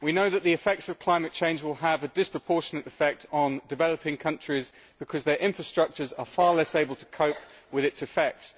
We know that the effects of climate change will have a disproportionate effect on developing countries, because their infrastructures are far less able to cope with its effects.